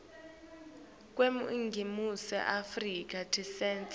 kweningizimu afrika tinsita